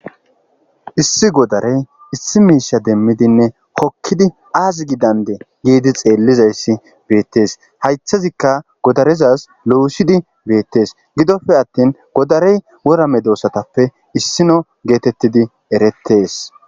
issi godarey issi miisha demmidinne kokkidi aazi gidande giidi xeellizayssi beettees haythazikka godarezaz lousidi beettees gidofe attin godarey worame doossatappe issino geetettidi erettees